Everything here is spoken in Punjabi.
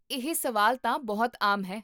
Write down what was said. ਇਹ ਸਵਾਲ ਤਾਂ ਬਹੁਤ ਆਮ ਹੈ